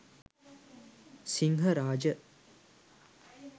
sinharaja